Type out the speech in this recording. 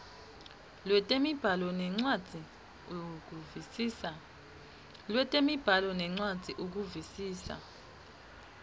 lwetemibhalo nencwadzi ukuvisisa